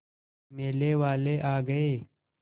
मेले वाले आ गए